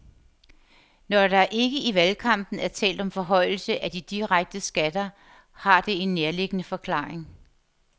Når der ikke i valgkampen er talt om forhøjelse af de direkte skatter, har det en nærliggende forklaring.